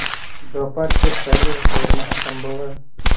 दोपहर के पहले लौटना असंभव है